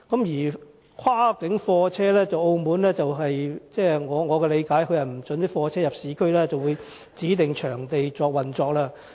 在跨境貨車方面，據我理解，澳門不准貨車進入市區，只可在指定場地運作。